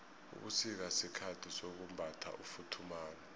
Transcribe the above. ubusika sikhathi sokumbatha ufuthumale